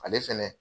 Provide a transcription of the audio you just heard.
Ale fɛnɛ